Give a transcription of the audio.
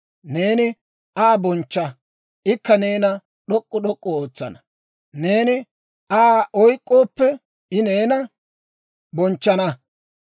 Neeni Aa bonchcha; ikka neena d'ok'k'u d'ok'k'u ootsana; neeni Aa oyk'k'ooppe, I neena bonchchana.